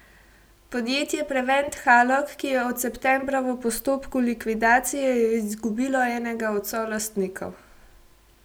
Podjetje Prevent Halog, ki je od septembra v postopku likvidacije, je izgubilo enega od solastnikov.